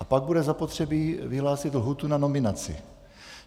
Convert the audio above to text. A pak bude zapotřebí vyhlásit lhůtu na nominaci.